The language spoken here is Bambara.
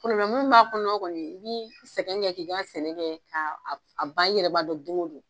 Munnu b'a kɔnɔ kɔni i b'i sɛgɛn kɛ k'i ka sɛnɛ kɛ k'a ban i yɛrɛ ba dɔn don ko don.